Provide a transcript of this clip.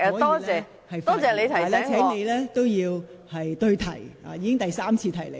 但我請你在發言時對題，我已是第三次提醒你。